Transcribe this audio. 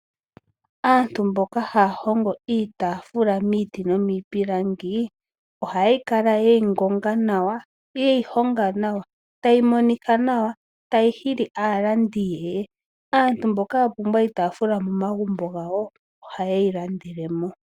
Aantu mboka haya hongo iitaafula miiti nomiipilangi ohaya kala ye yi ngonga nawa, ye yi honga nawa, ta yi monika nawa, tayi hili aalandi ye ye. Aantu mboka ya pumbwa iitaafula momagumbo gawo oha ye yi landele mo.